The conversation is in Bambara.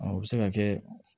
A bɛ se ka kɛ